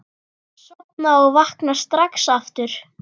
Sofna og vakna strax aftur.